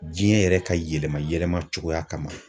Diɲɛ yɛrɛ ka yɛlɛma yɛlɛma cogoya ma.